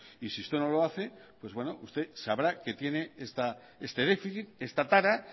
y si usted no lo hace usted sabrá que tiene este déficit esta tara